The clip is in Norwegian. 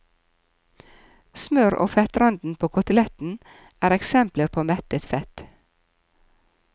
Smør og fettranden på koteletten er eksempler på mettet fett.